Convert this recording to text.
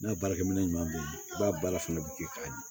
N'a baarakɛminɛn ɲuman b'o la i b'a baara fana bi kɛ ka di